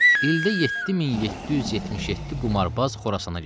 ildə 7777 qumarbaz Xorasana gedir.